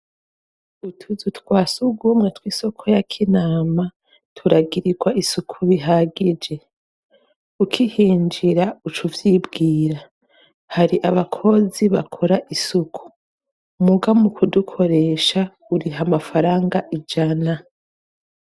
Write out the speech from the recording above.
Utuzu twa surwumwe tw'isoko ya Kinama, turagirirwa isuku bihagije. Ukihinjira, uca uvyibwira. Hari abakozi bakora isuku, muga mu kudukoresha, uriha amafaranga ijana.